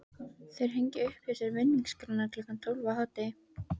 Þeir hengja upp hjá sér vinningaskrána klukkan tólf á hádegi.